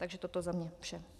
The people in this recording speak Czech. Takže toto za mě vše.